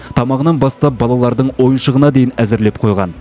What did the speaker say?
тамағынан бастап балалардың ойыншығына дейін әзірлеп қойған